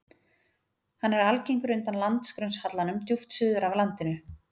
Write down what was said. Hann er algengur undan landgrunnshallanum djúpt suður af landinu.